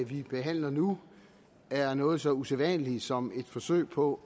vi behandler nu er noget så usædvanligt som et forsøg på